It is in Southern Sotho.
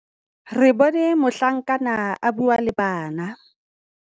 Re bone mohlankana a bua le bana.